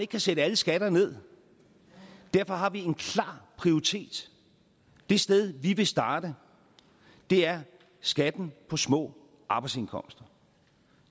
kan sætte alle skatter ned og derfor har vi en klar prioritet det sted vi vil starte er skatten på små arbejdsindkomster